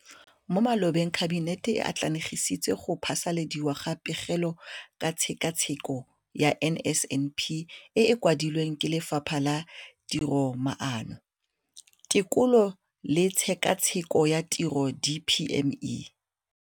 Mo malobeng Kabinete e atlenegisitse go phasaladiwa ga Pegelo ka Tshekatsheko ya NSNP e e kwadilweng ke Lefapha la Tiromaano, Tekolo le Tshekatsheko ya Tiro, DPME].